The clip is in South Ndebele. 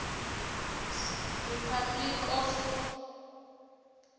s republic of